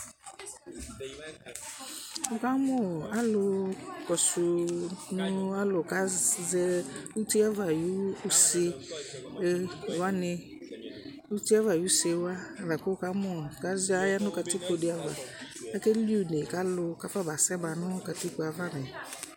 Ɛkamʊ alu kɔsumʊ alu kazɛ ʊtiava ayu ʊsewani ʊtie ava ayusewa kaya nu katikpodi ava kʊ akeli une kalu kafaba zɛba nʊ katikpo ava mɛ